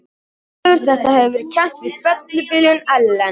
Óveður þetta hefur verið kennt við fellibylinn Ellen.